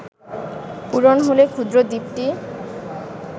পূরণ হলে ক্ষুদ্র দ্বীপটি